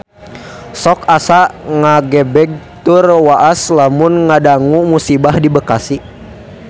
Sok asa ngagebeg tur waas lamun ngadangu musibah di Bekasi